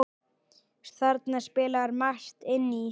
Þarna spilar margt inn í.